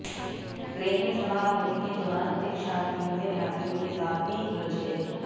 train में सवार होने के दौरान परीक्षार्थियों ने यात्रियों के साथ भी उलझ गए